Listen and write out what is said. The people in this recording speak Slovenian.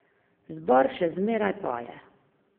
Zbor še zmeraj poje.